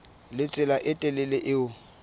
le tsela e telele eo